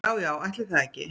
Ja já ætli það ekki.